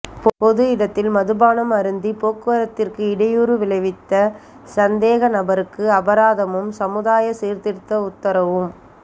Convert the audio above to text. பொது இடத்தில் மதுபானம் அருந்திப் போக்குவரத்திற்கு இடையூறு விளைவித்த சந்தேகநபருக்கு அபராதமும் சமூதாய சீர்திருத்த உத்தரவும்